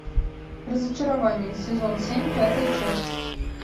разочарование сезон семь пятая часть